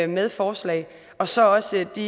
med forslag og så også de